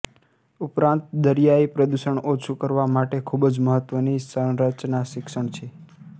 ઉપરાંત દરિયાઇ પ્રદૂષણ ઓછું કરવા માટે ખૂબ મહત્વની સંરચના શિક્ષણ છે